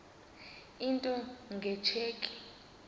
into nge tsheki